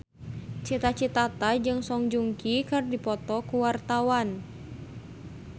Cita Citata jeung Song Joong Ki keur dipoto ku wartawan